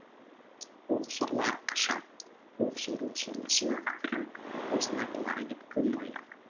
ох сорлы аркаша ох сорлы сорлы сенің ақырың осындай болар деп кім ойлаған